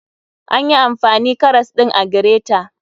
Anyi amfani karas ɗin a gireta